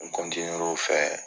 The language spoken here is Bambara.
N cɔntinuera